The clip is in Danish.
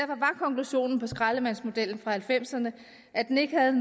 konklusionen på skraldemandsmodellen fra nitten halvfemserne at den ikke havde